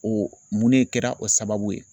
O mun de kɛra o sababu ye.